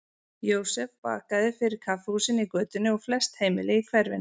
Jósef bakaði fyrir kaffihúsin í götunni og flest heimili í hverfinu.